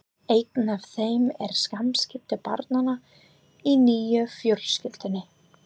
Eitt af þeim eru samskipti barnanna í nýju fjölskyldunni.